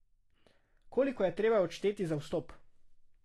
Koliko je treba odšteti za vstop?